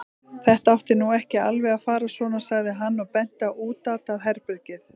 Þetta átti nú ekki alveg að fara svona, sagði hann og benti á útatað herbergið.